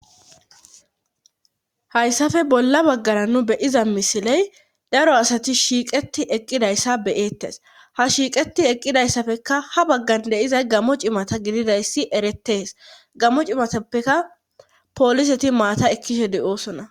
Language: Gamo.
hayssafe bolla baggara nu beyiza misiley daro asati shiiqeti eqqidayssa beyettes ha shiiqeti eqqidayssapfeka ha baggan deizay gamo cimata gididayssi eretees gamo cimatappeka pooliseti maata ekkishe deoosona